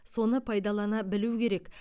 соны пайдалана білу керек